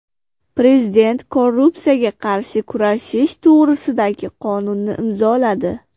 Prezident korrupsiyaga qarshi kurashish to‘g‘risidagi qonunni imzoladi.